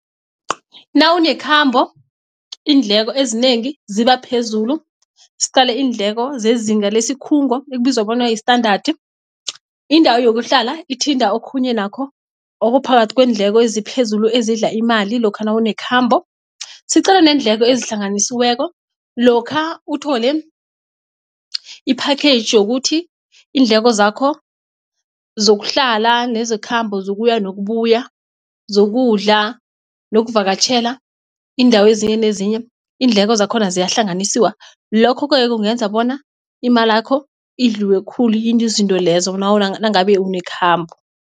Nawunekhambo iindleko ezinengi zibaphezulu siqale iindleko zezinga lesikhungo ekubizwa bona yi-standard indawo yokuhlala ithinta okhunye nakho okuphakathi kwendleko eziphezulu ezidla imali lokha nawunekhambo. Siqale neendleko ezihlanganisiweko lokha uthole i-package yokuthi iindleko zakho zokuhlala nezekhambo zokuya nokubuya, zokudla nokuvakatjhela iindawo ezinye nezinye iindleko zakhona ziyahlanganisiwa lokho-ke kungenza bona imalakho idliwe khulu yinto izinto lezo nangabe unekhamba.